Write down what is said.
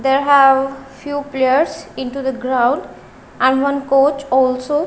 there have few players into the ground and one coach also.